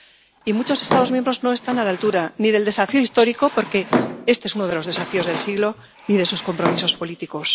Y muchos Estados miembros no están a la altura ni del desafío histórico —porque este es uno de los desafíos del siglo— ni de sus compromisos políticos.